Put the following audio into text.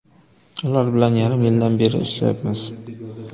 Ular bilan yarim yildan beri birga ishlayapmiz.